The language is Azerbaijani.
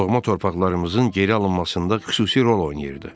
doğma torpaqlarımızın geri alınmasında xüsusi rol oynayırdı.